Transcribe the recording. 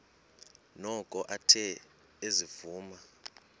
noko athe ezivuma